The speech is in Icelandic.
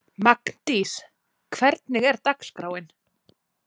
Magndís, hvernig er dagskráin?